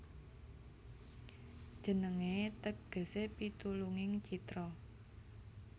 Jenengé tegesé Pitulunging Citra